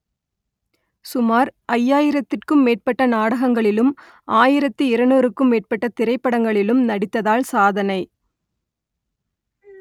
சுமார் ஐயாயிரத்திற்கும் மேற்பட்ட நாடகங்களிலும் ஆயிரத்து இருநூறுக்கும் மேற்பட்ட திரைப்படங்களிலும் நடித்ததால் சாதனை